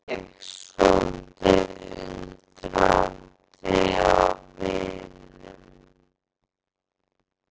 svaraði ég, svolítið undrandi á vininum.